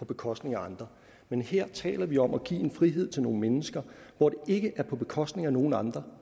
bekostning af andre men her taler vi om at give en frihed til nogle mennesker hvor det ikke er på bekostning af nogen andre